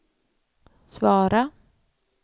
svara